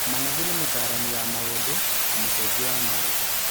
Manathi nĩ mũtaaramu wa maũndũ na mũcenjia wa maũndũ.